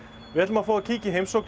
við ætlum að fá að kíkja í heimsókn